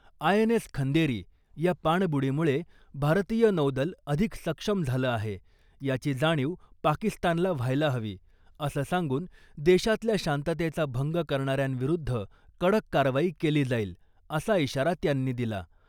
I N S Khanderi या पाणबुडीमुळे भारतीय नौदल अधिक सक्षम झालं आहे, याची जाणीव पाकिस्तानला व्हायला हवी , असं सांगून , देशातल्या शांततेचा भंग करणाऱ्यांविरुद्ध कडक कारवाई केली जाईल, असा इशारा त्यांनी दिला .